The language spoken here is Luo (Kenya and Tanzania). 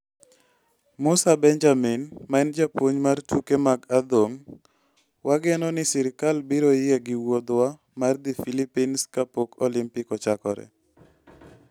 Musa Benjamin ma en japuonj mar tuke mag adhong ': Wageno ni sirkal biro yie gi wuodhwa mar dhi Philippines kapok Olimpik ochakore